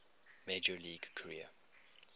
major league career